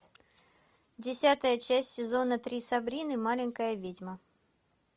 десятая часть сезона три сабрина маленькая ведьма